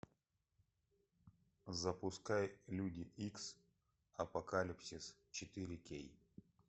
запускай люди икс апокалипсис четыре кей